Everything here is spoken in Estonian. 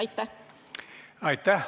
Aitäh!